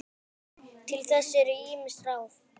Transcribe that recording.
Til þess eru ýmis ráð.